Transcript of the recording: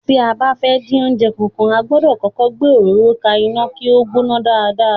Tí a bá fẹ́ dín oúnjẹ kankan, a gbọ́dọ̀ kọ́kọ́ gbé òróró ka iná kí ó gbóná dáadáa.